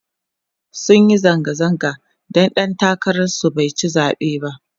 sunyi zanga zanga da ɗan takarar su baici zaɓe ba